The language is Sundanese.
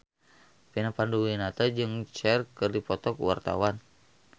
Vina Panduwinata jeung Cher keur dipoto ku wartawan